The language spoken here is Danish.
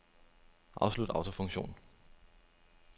Afslut autofunktion.